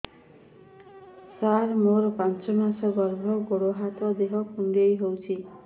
ସାର ମୋର ପାଞ୍ଚ ମାସ ଗର୍ଭ ଗୋଡ ହାତ ଦେହ କୁଣ୍ଡେଇ ହେଉଛି